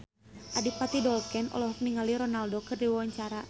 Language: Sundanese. Adipati Dolken olohok ningali Ronaldo keur diwawancara